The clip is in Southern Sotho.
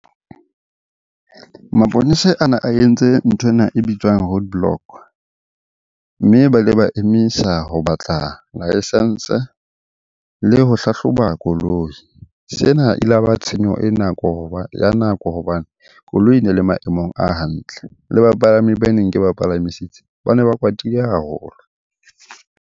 Maponesa ana a entse nthwena e bitswang roadblock, mme ba ile ba emisa ho batla licence le ho hlahloba koloi. Sena e la ba tshenyo ya nako hobane koloi e ne le maemong a hantle. Le bapalami baneng ke ba palamisitse, bane ba kwatile haholo.